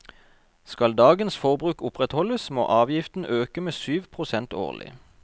Skal dagens forbruk opprettholdes, må avgiften øke med syv prosent årlig.